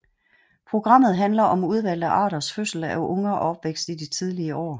Programmet handler om udvalgte arters fødsel af unger og opvækst i de tidlige år